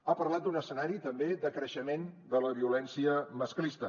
ha parlat d’un escenari també de creixement de la violència masclista